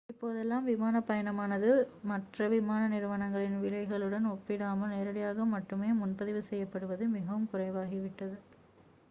இப்போதெல்லாம் விமானப் பயணமானது மற்ற விமான நிறுவனங்களின் விலைகளுடன் ஒப்பிடாமல் நேரடியாக மட்டுமே முன்பதிவு செய்யப்படுவது மிகவும் குறைவாகிவிட்டது